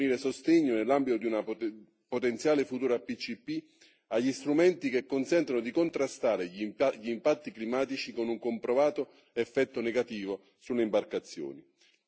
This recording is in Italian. È necessario fornire sostegno, nell'ambito di una potenziale futura PCP, agli strumenti che consentano di contrastare gli impatti climatici con un comprovato effetto negativo sulle imbarcazioni.